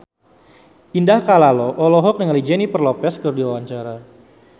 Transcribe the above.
Indah Kalalo olohok ningali Jennifer Lopez keur diwawancara